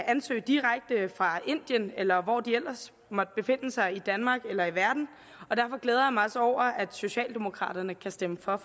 ansøge direkte fra indien eller hvor de ellers måtte befinde sig i danmark eller i verden og derfor glæder jeg mig også over at socialdemokraterne kan stemme for